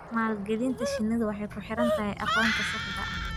Maalgelinta shinnidu waxay ku xidhan tahay aqoonta saxda ah.